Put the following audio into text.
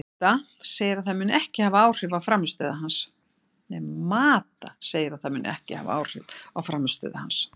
Mata segir að það muni ekki hafa áhrif á frammistöðu hans.